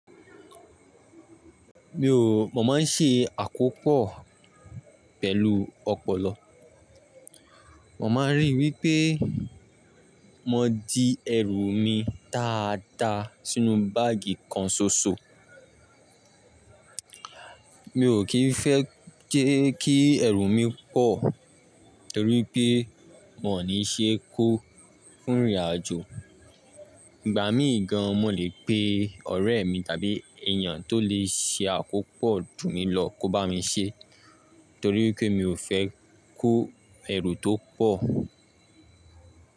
Mi ò, mo má n ṣe àkópò pẹ̀lú ọ̀pọ̀lọ́. Mo maa n ríi wípé mo di ẹrù mi dáadáa sínú báàgì kan ṣoṣo. Mi ò kí n fẹ́ jẹ́ kí ẹ̀rù mi pọ̀ torí pé won ní ṣe kó fún ìrìnàjò. Ìgbà míì gan mo lè pe ọ̀rẹ́ mi tàbí èèyàn tó lè ṣe àkópò junmí lọ kó bá mi ṣe torí pé mi ò fẹ́ kó ẹ̀rù tó pọ̀